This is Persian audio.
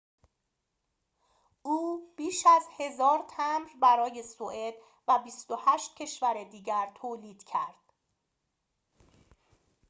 او بیش از ۱,۰۰۰ تمبر برای سوئد و ۲۸ کشور دیگر تولید کرد